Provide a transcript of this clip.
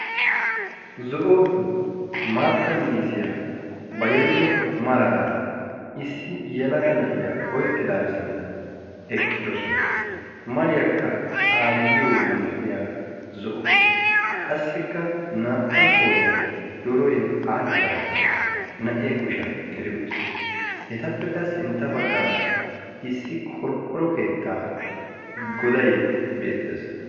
Zo'o maatta miizziya ba yelido maraara issi yelaga naa'e sinttan eqqidoosona. mariyakka aayyiyo malatiyaara zo'o. qassikka naa''u qooriyan wodoroy all''idaage naa'e kushshiyaan geli uttiis, etappe sintta baggara issi qorqqoro keetta goday beettees.